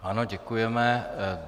Ano, děkujeme.